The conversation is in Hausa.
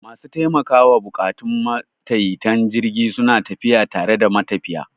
Masu taimakawa buƙatun matayitan jirgi suna tafiya tare da matafiya.